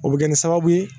O bɛ kɛ ni sababu ye